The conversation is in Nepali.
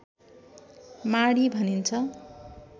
माडी भनिन्छ